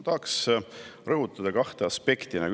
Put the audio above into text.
Tahan rõhutada kahte aspekti.